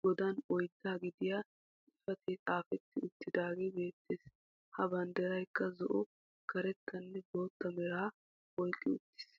qoodan oydda gidiyaa xifaatee xaafetti uttagee beettees. Ha banddiraykka zo"o karettanne bootta meraa oyqqi uttiis.